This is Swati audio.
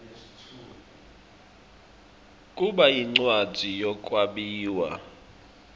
kuba yincwadzi yekwabiwa